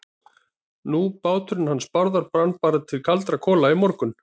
Nú, báturinn hans Bárðar brann bara til kaldra kola í morgun.